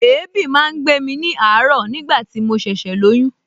Èébì máa ń gbé ní àárọ̀ nigbati mo ṣẹ̀ṣẹ̀ lóyún